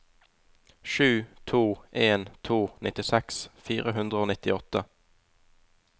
sju to en to nittiseks fire hundre og nittiåtte